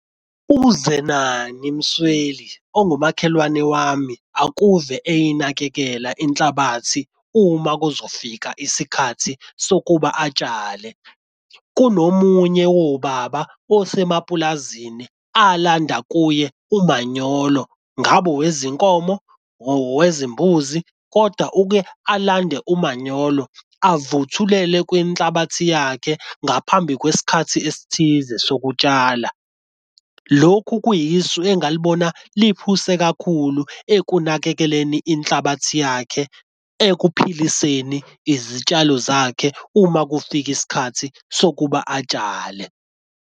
UZenani Msweli ongumakhelwane wami akuve eyinakekela inhlabathi uma kuzofika isikhathi sokuba atshale. Kunomunye wobaba osemapulazini alanda kuye umanyolo ngabo owezinkomo owezimbuzi kodwa uke alande umanyolo avuthulele kwenhlabathi yakhe ngaphambi kwesikhathi esithize sokutshala. Lokhu kuyisu engalibona liphuse kakhulu ekunakekeleni inhlabathi yakhe ekuphiliseni izitshalo zakhe uma kufika isikhathi sokuba atshale.